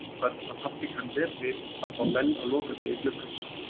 Við vitum öll að pabbi kann vel við að fá menn á lokadegi gluggans.